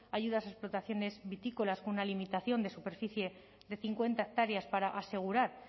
ayudas a explotaciones vitícolas con una limitación de superficie de cincuenta hectáreas para asegurar